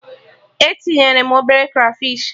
E tinye m obere krafish